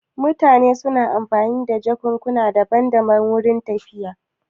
Mutane suna amfani da jakukuna daban daban wurin tafiya